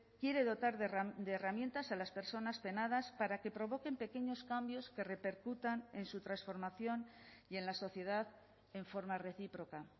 quiere dotar de herramientas a las personas penadas para que provoquen pequeños cambios que repercutan en su transformación y en la sociedad en forma recíproca